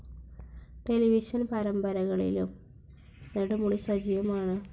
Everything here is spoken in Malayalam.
ടെലിവിഷൻ പാരമ്പരകളിലും നെടുമുടി സജീവമാണ്.